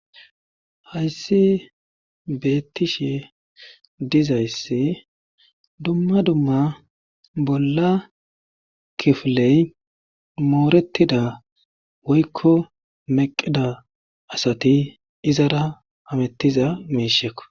Hayssi beettishe dizayssi dumma dumma bolla kifiley moorettida woykko meqida asati izara amettiza meishekko.